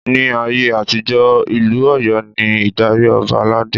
Ni ayé àtijó, Ìlú Ọ̀yọ́ ni ìdarí Ọba aládé.